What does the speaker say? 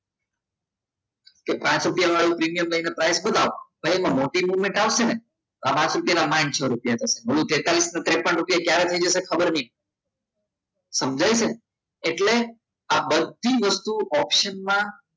કે પાંચ રૂપિયાનું પ્રીમિયમ લઈને પાંચ બતાવો પણ એમાં મોટી movement આવશે ને પાંચ રૂપિયા ના પચ્સો સો રૂપિયા તેતલિસ ના તેપન રુપયા ક્યારે થઈ જશે ખબર નહિ પડે સમજાય છે ને એટલે આ બધી વસ્તુ ઓપ્શનમાં